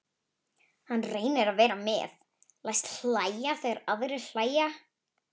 Hann reynir að vera með, læst hlæja þegar aðrir hlæja.